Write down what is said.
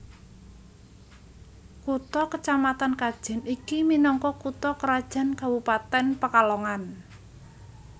Kutha kacamatan Kajen iki minangka kutha krajan Kabupatèn Pekalongan